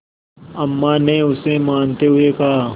अम्मा ने उसे मनाते हुए कहा